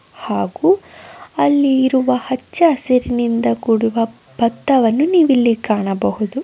ಹಾಗೂ ಅಲ್ಲಿರುವ ಅಚ್ಚಾಸುರಿನ ಕೂಡಿದ ಭತ್ತವನ್ನು ನೀವಿಲ್ಲಿ ಕಾಣಬಹುದು.